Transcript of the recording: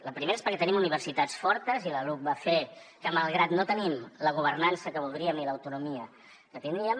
la primera és perquè tenim universitats fortes i la luc va fer que malgrat no tenim la governança que voldríem ni l’autonomia que tindríem